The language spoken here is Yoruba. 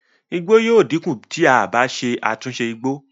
igbó yíò dínkù tí a bá ṣe àtúnṣe igbó